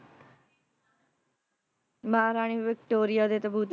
ਮਹਾਰਾਣੀ Victoria ਦੇ ਤਾਬੂਤ